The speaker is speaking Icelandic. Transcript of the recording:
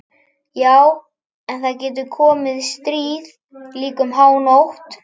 Já en það getur komið stríð, líka um hánótt.